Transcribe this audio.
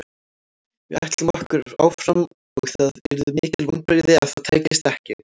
Við ætlum okkur áfram og það yrðu mikil vonbrigði ef það tækist ekki.